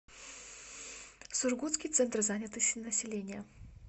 сургутский центр занятости населения